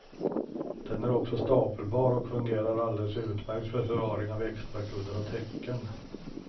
Den är också stapelbar och fungerar alldeles utmärkt för förvaring av extrakuddar och täcken.